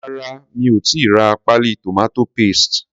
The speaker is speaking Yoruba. Rárá mi ò tíì ra páálí tomato paste.